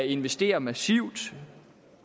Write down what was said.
investere massivt